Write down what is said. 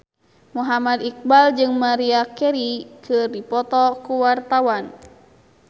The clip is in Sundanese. Muhammad Iqbal jeung Maria Carey keur dipoto ku wartawan